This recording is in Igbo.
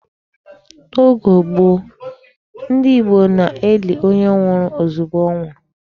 N'oge gboo, ndị Igbo na-eli onye nwụrụ ozugbo ọ nwụrụ.